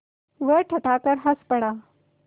वह ठठाकर हँस पड़ा